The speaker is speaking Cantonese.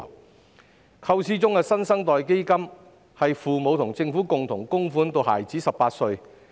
根據構思中的"新生代基金"，父母和政府會共同供款至孩子18歲。